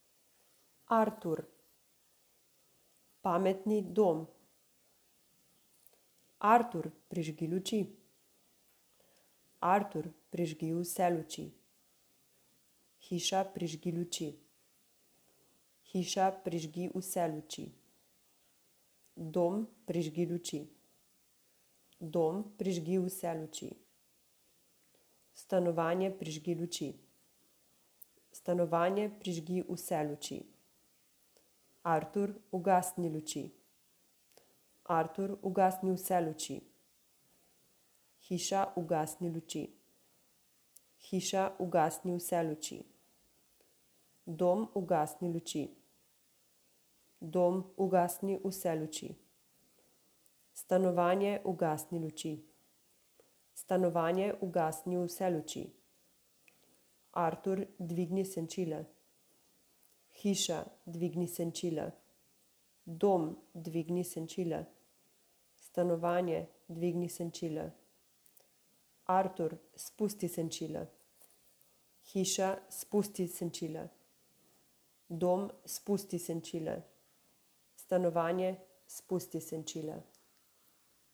Artur. Pametni dom. Artur, prižgi luči. Artur, prižgi vse luči. Hiša, prižgi luči. Hiša, prižgi vse luči. Dom, prižgi luči. Dom, prižgi vse luči. Stanovanje, prižgi luči. Stanovanje, prižgi vse luči. Artur, ugasni luči. Artur, ugasni vse luči. Hiša, ugasni luči. Hiša, ugasni vse luči. Dom, ugasni luči. Dom, ugasni vse luči. Stanovanje, ugasni luči. Stanovanje, ugasni vse luči. Artur, dvigni senčila. Hiša, dvigni senčila. Dom, dvigni senčila. Stanovanje, dvigni senčila. Artur, spusti senčila. Hiša, spusti senčila. Dom, spusti senčila. Stanovanje, spusti senčila.